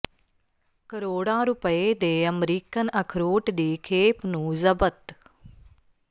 ਕਰੋੜਾਂ ਰੁਪਏ ਦੇ ਅਮਰੀਕਨ ਅਖਰੋਟ ਦੀ ਖੇਪ ਨੂੰ ਜ਼ਬਤ